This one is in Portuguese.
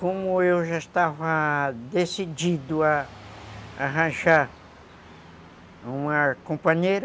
Como eu já estava decidido a arranjar uma companheira,